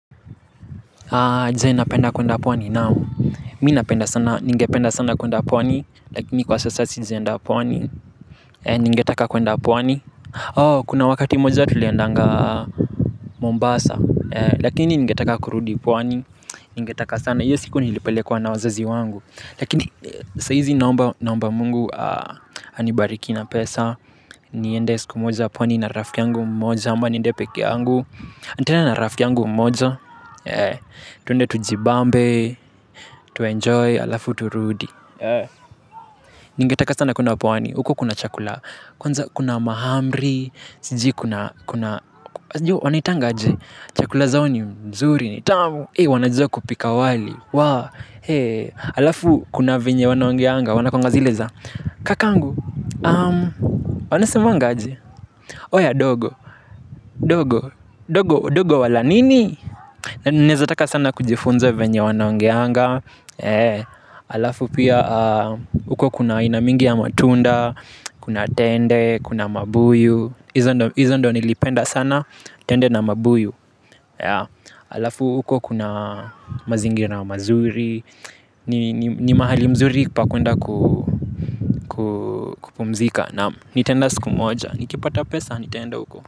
Je, napenda kwenda pwani naam, mi napenda sana, ningependa sana kwenda pwani, lakini kwa sasa sijaenda pwani, ningetaka kwenda pwani. Kuna wakati mmoja tuliendanga Mombasa, lakini ningetaka kurudi pwani, ningetaka sana, hiyo siku nilipelekwa na wazazi wangu. Lakini saizi naomba mungu anibariki na pesa. Niende siku moja pwani na rafiki yangu mmoja ama niende pekee yangu nitaenda na rafiki yangu mmoja. Twende tujibambe. Tu enjoy halafu turudi. Ningetaka sana kwenda pwani. Huko kuna chakula. Kwanza kuna mahamri. Sijui kuna wanaitanga aje. Chakula zao ni mzuri ni tamu. Wanajua kupika wali. Waa, hee, halafu kuna venye wanaongeanga, wanakuanga zile za kakangu, um, wanasemanga aje oya dogo, dogo, dogo, dogo wala nini. Naezataka sana kujifunza venye wanaongeanga. Hee, halafu pia, um, huko kuna aina mingi ya matunda kuna tende kuna mabuyu hizo ndo nilipenda sana. Tende na mabuyu, halafu, huko kuna mazingira mazuri ni mahali mzuri pa kwenda kupumzika naam, nitaenda siku moja nikipata pesa nitaenda huko.